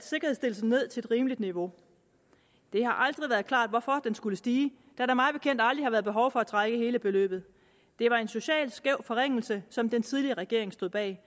sikkerhedsstillelsen ned til et rimeligt niveau det har aldrig været klart hvorfor det skulle stige da der mig bekendt aldrig har været behov for at trække hele beløbet det var en socialt skæv forringelse som den tidligere regering stod bag